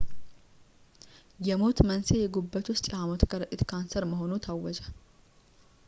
የሞት መንሥኤ የጉበት ውስጥ የሃሞት ከረጢት ካንሰር መሆኑ ታወጀ